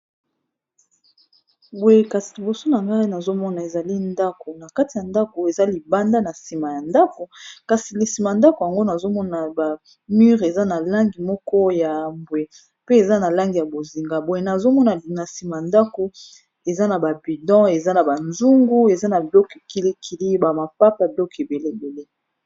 Boye kasi liboso na ngai nazomona ezali ndako na kati ya ndako eza libanda na nsima ya ndako kasi na nsima ndako yango nazomona ba mure eza na langi moko ya mbwe pe eza na langi ya bozinga boye nazomona na nsima ndako eza na ba budon, eza na ba nzungu, eza na biloko kili kili ba mapapa biloko ebele ebele.